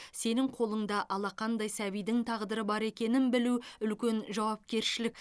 сенің қолыңда алақандай сәбидің тағдыры бар екенін білу үлкен жауапкершілік